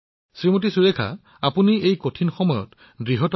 সুৰেখাজী সঁচাকৈয়ে আপুনি অতি কঠিন সময়ত নেতৃত্ব বহন কৰি আছে